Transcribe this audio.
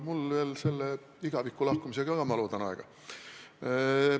Mul on ka selle igavikku lahkumisega, ma loodan, aega.